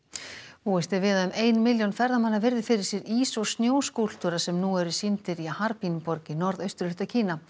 búist er við að um ein milljón ferðamanna virði fyrir sér ís og sem nú eru sýndir í borg í norðausturhluta Kína